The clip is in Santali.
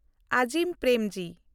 ᱟᱡᱤᱢ ᱯᱨᱮᱢᱡᱤ